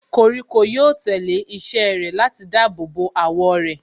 Koríko yóò tẹ̀lé ìṣe rẹ̀ láti dáàbò bo àwọ̀ rẹ̀.